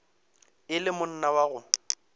e le monna wa go